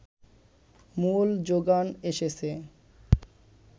মূল জোগান এসেছে